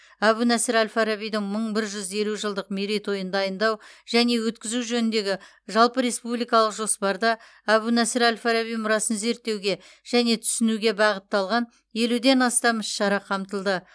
әбу насыр әл фарабидің мың бір жүз елу жылдық мерейтойын дайындау және өткізу жөніндегі жалпы республикалық жоспарда әбу насыр әл фараби мұрасын зерттеуге және түсінуге бағытталған елуден астам іс шара қамтылды